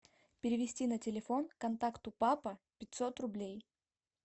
перевести на телефон контакту папа пятьсот рублей